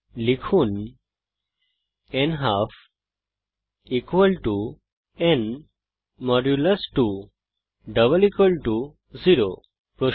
লিখুন নালফ n 2 0